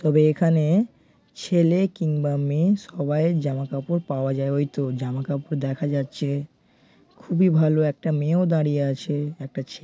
তবে এখানে ছেলে কিংবা মেয়ে সবাই জামা কাপড় পাওয়া যাই ঐ তো জামা কাপড় দেখা যাচ্ছে। খুবই ভালো একটা মেয়েও দাঁড়িয়ে আছে একটা ছে--